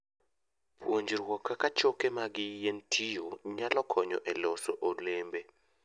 Puonjruok kaka choke mag yien tiyo, nyalo konyo e loso olembe.